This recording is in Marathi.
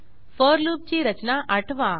फोर लूपची रचना आठवा